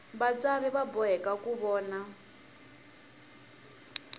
vatswari va boheka ku vona